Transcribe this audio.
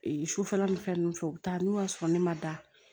sufɛla nin fɛn ninnu fɛ u bɛ taa n'u y'a sɔrɔ ne ma da